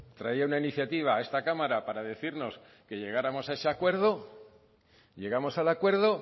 traía una iniciativa a esta cámara para decirnos que llegáramos a ese acuerdo llegamos al acuerdo